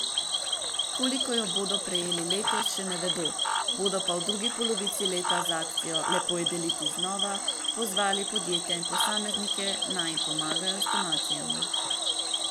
Koliko jo bodo prejeli letos, še ne vedo, bodo pa v drugi polovici leta z akcijo Lepo je deliti znova pozvali podjetja in posameznike, naj jim pomagajo z donacijami.